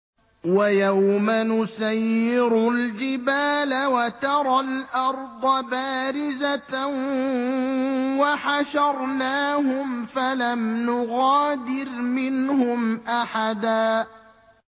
وَيَوْمَ نُسَيِّرُ الْجِبَالَ وَتَرَى الْأَرْضَ بَارِزَةً وَحَشَرْنَاهُمْ فَلَمْ نُغَادِرْ مِنْهُمْ أَحَدًا